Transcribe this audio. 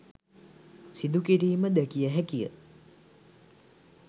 සිදුකිරීම දැකිය හැකිය.